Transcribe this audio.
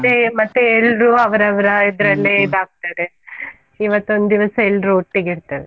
ಮತ್ತೆ ಮತ್ತೆ ಎಲ್ರೂ ಅವ್ರಾವ್ರ ಇದಾಗ್ತದೆ, ಇವತ್ತು ಒಂದು ದಿವಸ ಎಲ್ರೂ ಒಟ್ಟಿಗೆ ಇರ್ತೇವೆ.